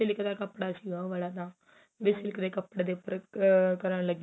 silk ਦਾ ਕੱਪੜਾ ਸੀਗਾ ਉਹ ਵਾਲਾ ਤਾ ਵੀ silk ਦੇ ਕੱਪੜੇ ਦੇ ਉੱਪਰ ਕਰਨ ਲੱਗੇ ਹੋਏ ਏ